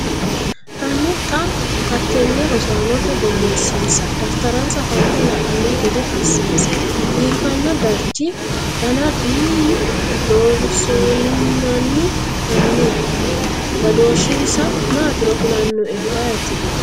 Hanni xa hattenne rosaanote borreessinsa. daftaransa fante la’anno gede assinsa biiffano darchi dana duumu Loossinanni Hanni badooshshinsa maatiro kulannoehu ayeeti?